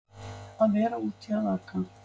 Að vera úti að aka